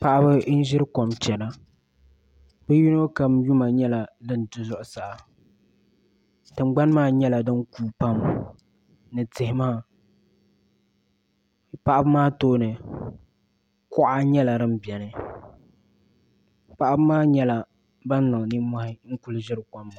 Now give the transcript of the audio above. Paɣaba m ʒiri kom chɛna bi yino kam yuma nyɛla din du zuɣusa tingbani maa nyɛla din kuui pam ni tihi maa paɣaba maa tooni kuɣa nyɛla din biɛni paɣaba maa nyɛla ban niŋ nimmohi n ku ʒiri kom maa